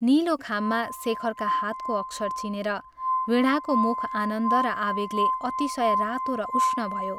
नीलो खाममा शेखरका हातको अक्षर चिनेर वीणाको मुख आनन्द र आवेगले अतिशय रातो र उष्ण भयो।